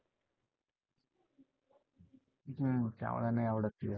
त्यामुळे नाही आवडत